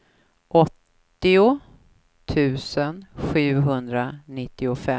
åttio tusen sjuhundranittiofem